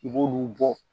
I b'olu bɔ